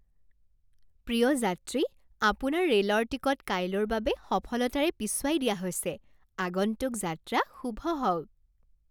প্ৰিয় যাত্ৰী, আপোনাৰ ৰেল'ৰ টিকট কাইলৈৰ বাবে সফলতাৰে পিছুৱাই দিয়া হৈছে। আগন্তুক যাত্ৰা শুভ হওক!